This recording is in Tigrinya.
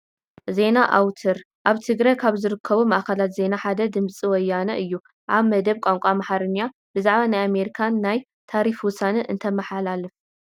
ዜና ኣውትር፡- ኣብ ትግራይ ካብ ዝርከቡ ማዕኸናት ዜና ሓደ ዝኾነ ድምፂ ወያነ እዩ፡፡ ኣብ መደብ ቋንቋ ኣምሓርኛ ብዛዕባ ናይ ኣሜሪካ ናይ ታሪፍ ውሳነ እንተመሓላለፍ፡፡